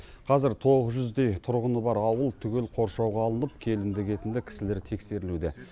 қазір тоғыз жүздей тұрғыны бар ауыл түгел қоршауға алынып келімді кетімді кісілер тексерілуде